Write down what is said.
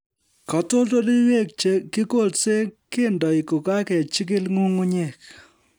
Katoldoloiwek che kikolse kendoi kokakejikil nyung'unyek